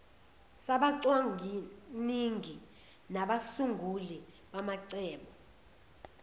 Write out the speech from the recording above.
sabacwaningi nabasunguli bamacebo